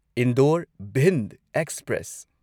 Indore Bhind express